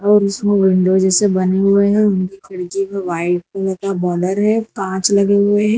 और इसमें विंडो जैसे बने हुए हैं उनकी खिड़की पर व्हाइट कलर का बॉर्डर है कांच लगे हुए हैं।